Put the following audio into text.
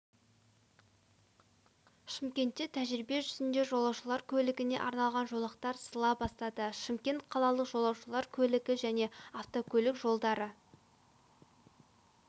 шымкентте тәжірибе жүзінде жолаушылар көлігіне арналған жолақтар сызыла бастады шымкент қалалық жолаушылар көлігі және автокөлік жолдары